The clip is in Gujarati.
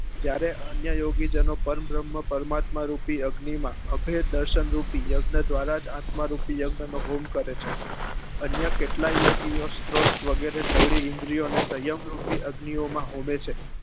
જ્યારે અન્ય યોગી જેનો પર ભ્ર્મ્હ પરમાત્મા રૂપી અગ્નિ માં અભેદ દર્શન રૂપી યજ્ઞ દ્વારા જ આત્મા રૂપી યજ્ઞ નો હોમ કરે છે અન્ય કેટલાય યોગી સ્ત્રોત વગરે સગળી ઈન્દ્રીઓ ને સયમ રૂપી અગ્નિ માં હોમે છે